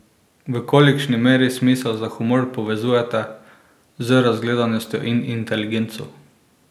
V kolikšni meri smisel za humor povezujeta z razgledanostjo in inteligenco?